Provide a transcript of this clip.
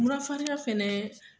Mura farigan fɛnɛ